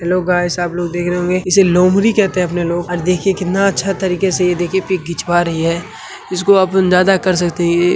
लोग आए है सब लोग देख रहे होंगे इसे लोमडी कहेते है अपने लोग और देखो कितना अच्छे तरीके से ये देखिए पिक खिंचवा रही है इसको आप अंदाजा कर सकते है। ये--